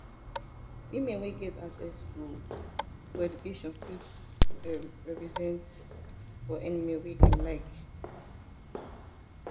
women wey get access to to education fit um represent for anywhere wey dem like um